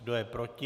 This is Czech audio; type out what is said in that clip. Kdo je proti?